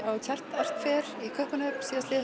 á Chart art Fair í Kaupmannahöfn síðasta